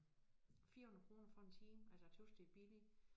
400 kroner for en time altså tøs det billigt